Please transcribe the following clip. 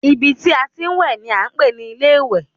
Ibi tí a ti ń wẹ̀ ni a ń pè ní ilé ìwẹ̀